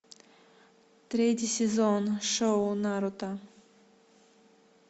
третий сезон шоу наруто